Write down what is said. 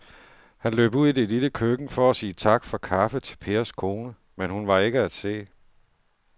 Han løb ud i det lille køkken for at sige tak for kaffe til Pers kone, men hun var ikke til at se.